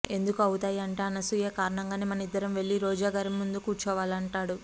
ఎందుకు అవుతాయి అంటే అనసూయ కారణంగానే మనిద్దరం వెళ్లి రోజా గారి ముందు కూర్చోవాలంటాడు